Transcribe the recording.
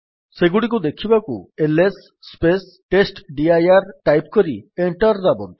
ସେଗୁଡିକୁ ଦେଖିବାକୁ ଏଲଏସ୍ ଟେଷ୍ଟଡିର ଟାଇପ୍ କରି ଏଣ୍ଟର୍ ଦାବନ୍ତୁ